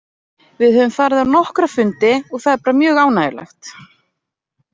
Við höfum farið á nokkra fundi og það er bara mjög ánægjulegt.